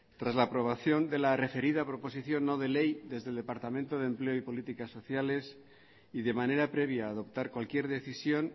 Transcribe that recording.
tras la aprobación de la referida proposición no de ley desde el departamento de empleo y políticas sociales y de manera previa a adoptar cualquier decisión